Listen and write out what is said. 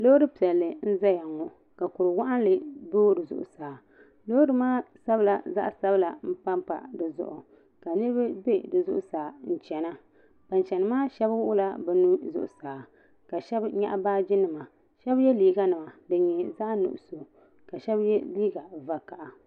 lori piɛli n ʒɛya ŋɔ ka kuri waginli do di zuɣ' saa lori maa sabila zaɣ' sabila n papa di zuɣ' ka niriba bɛ di zuɣ' saa n chɛna ban chɛni maa shɛbi wuɣila bi nuu zuɣ' saa ka shɛbi nyɛgi shɛbi yɛ liga nima ka shɛli nyɛ zaɣ' nuɣisu ni zaɣ' vakahili